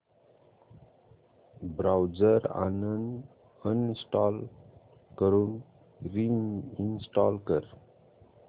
browser uninstall करून reinstall कर